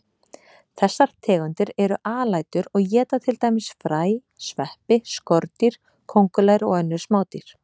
Þessar tegundir eru alætur og éta til dæmis fræ, sveppi, skordýr, kóngulær og önnur smádýr.